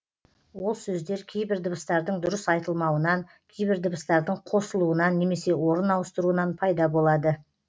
ол сөздер кейбір дыбыстардың дұрыс айтылмауынан кейбір дыбыстардың қосылуынан немесе орын ауыстыруынан пайда болады